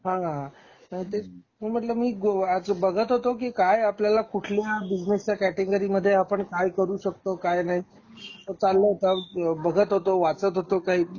हां नाही तरी म्हणून म्हंटल मी बघत होतो कि काय आपल्याला कुठल्या बिझनेसच्या कॅटेगरी मध्ये आपण काय करू शकतो काय नाही अस चालल होत. बघत होतो, वाचत होतो काय